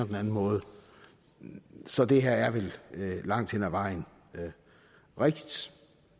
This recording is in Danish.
den anden måde så det her er vel langt hen ad vejen rigtigt